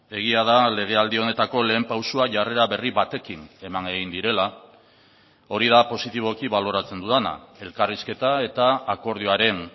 egia da legealdi honetako lehen pausoa jarrera berri batekin eman egin direla hori da positiboki baloratzen dudana elkarrizketa eta akordioaren